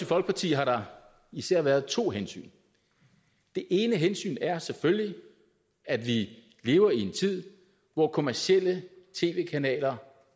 folkeparti har der især været to hensyn det ene hensyn er selvfølgelig at vi lever i en tid hvor kommercielle tv kanaler